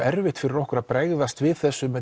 erfitt fyrir okkur að bregðast við þessu